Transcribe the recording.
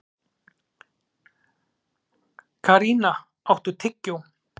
Karína, áttu tyggjó?